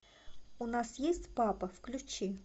у нас есть папа включи